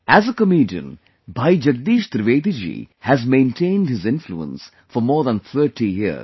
As a comedian, Bhai Jagdish Trivedi ji has maintained his influence for more than 30 years